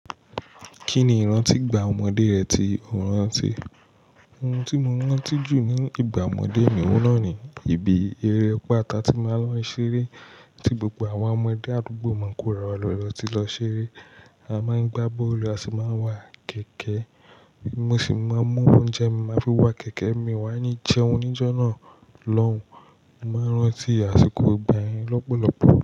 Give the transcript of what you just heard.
Kí ni ìrántí ìgbà ọmọdé rẹ tí o rán tí? Ohun tí mo rán tí jù ní ìgbà ọmọdé mi ò náà ni, ibi eré ọ̀pá atá tí máa ń lọ ṣeré tí gbogbo àwọn ọmọdé àdúgbò Mọ̀kúràwà lọlọ tí lọ ṣeré. A máa ń gbá bọ́ọ̀lù, a sì máa ń wa kẹ̀kẹ́. Mo sì máa ń mú oúnjẹ mi, màá fi wá kẹ̀kẹ́ mi, wá ní jẹun oníjó náà lọ́hùn. Mo máa rán tí àsìkò ìgbà yẹn lọ́pọ̀lọpọ̀.